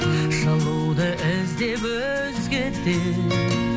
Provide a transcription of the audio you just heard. жылуды іздеп өзгеден